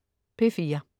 P4: